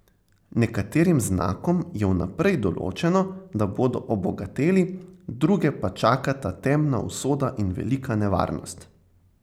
Nekaterim znakom je vnaprej določeno, da bodo obogateli, druge pa čakata temna usoda in velika nevarnost.